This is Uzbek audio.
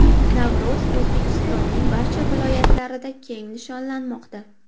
Navro‘z O‘zbekistonning barcha viloyatlarida keng nishonlanmoqda .